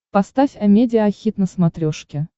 поставь амедиа хит на смотрешке